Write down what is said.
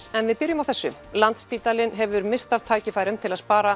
en við byrjum á þessu landsspítalinn hefur misst af tækifærum til að spara